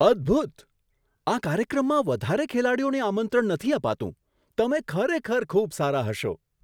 અદ્ભુત! આ કાર્યક્રમમાં વધારે ખેલાડીઓને આમંત્રણ નથી અપાતું. તમે ખરેખર ખૂબ સારા હશો!